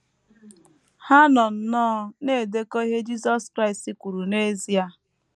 Ha nọ nnọọ na - edekọ ihe Jisọs Kraịst kwuru n’ezie.